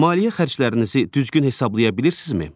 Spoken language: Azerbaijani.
Maliyyə xərclərinizi düzgün hesablaya bilirsinizmi?